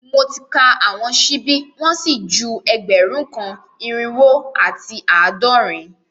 Mo ti ka awọn ṣibi wọn si ju ẹgbẹrun kan, irinwo ati aadọrin